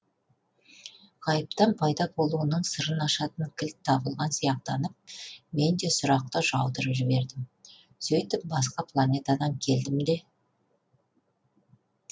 ғайыптан пайда болуының сырын ашатын кілт табылған сияқтанып мен де сұрақты жаудырып жібердім сөйтіп басқа планетадан келдім де